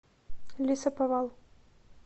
лесоповал